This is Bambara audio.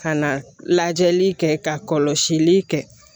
Ka na lajɛli kɛ ka kɔlɔsili kɛ